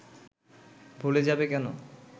ভুলে যাবে কেন